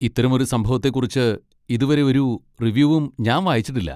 ഇത്തരമൊരു സംഭവത്തെ കുറിച്ച് ഇതുവരെ ഒരു റിവ്യൂവും ഞാൻ വായിച്ചിട്ടില്ല.